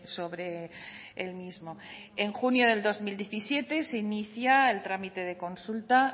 sobre el mismo en junio de dos mil diecisiete se inicia el trámite de consulta